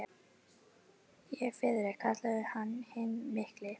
Ég er Friðrik, kallaður hinn mikli!